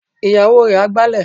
Ìyàwó rẹ̀ á gbálẹ̀.